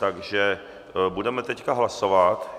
Takže budeme teď hlasovat.